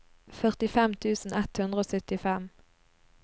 førtifem tusen ett hundre og syttifem